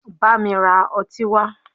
Bámi ra ọtí wá!